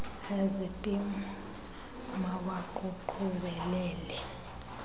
azi pim mawaququzelelel